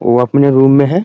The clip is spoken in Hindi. वो अपने रूम में है ।